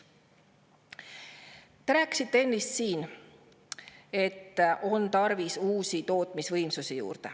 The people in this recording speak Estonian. Te rääkisite ennist siin, et on tarvis uusi tootmisvõimsusi.